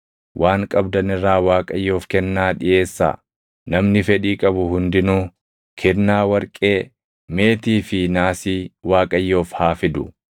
Waan qabdan irraa Waaqayyoof kennaa dhiʼeessaa. Namni fedhii qabu hundinuu: “kennaa warqee, meetii fi naasii Waaqayyoof haa fidu.